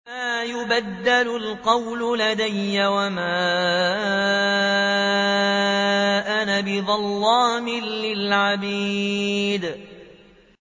مَا يُبَدَّلُ الْقَوْلُ لَدَيَّ وَمَا أَنَا بِظَلَّامٍ لِّلْعَبِيدِ